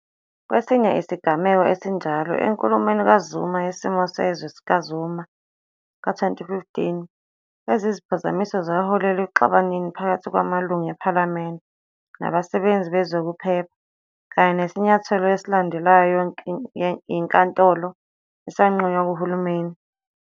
Kwesinye isigameko esinjalo, enkulumweni kaZuma Yesimo Sezwe kaZuma ka-2015, lezi ziphazamiso zaholela ekuxabaneni phakathi kwamaLungu ePhalamende nabasebenzi bezokuphepha kanye nesinyathelo esalandelwa yinkantolo, esanqunywa kuhulumeni.